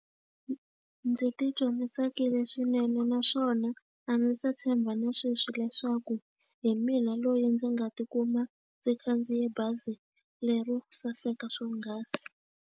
Ndzi titwa ndzi tsakile swinene naswona a ndzi se tshemba na sweswi leswaku hi mina loyi ndzi nga tikuma ndzi khandziye bazi lero saseka swonghasi.